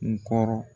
N kɔrɔ